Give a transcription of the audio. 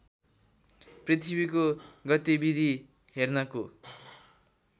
पृथ्वीको गतिविधि हेर्नको